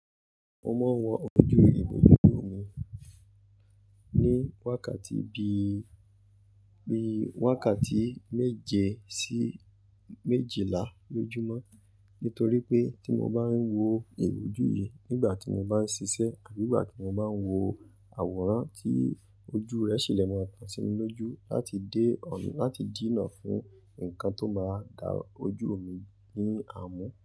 Mo máa ń wọ ojú ìbòjú òmi ní wákàtí bi, bi wákàtí méje sí méjìlá lójúmọ́. Nítorí pé tí mo bá ń wọ ìbòjú yìí nígbà tí mo bá ń ṣiṣẹ́ àbí ìgbà tí mo bá ń wo àwòrán tí ojú rẹ̀ ṣe lè máa tán sí mi lójú láti dé ọ̀n-- láti dìnnà fún nǹkan tó máa dá ojú mi ní àmú.